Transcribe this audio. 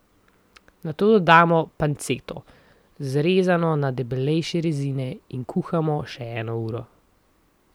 Nato dodamo panceto, zrezano na debelejše rezine, in kuhamo še eno uro.